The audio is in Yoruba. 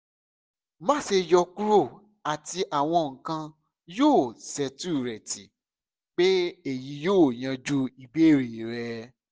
má ṣe yọkuro ati awọn nkan yoo settlereti pe eyi yoo yanju ibeere rẹ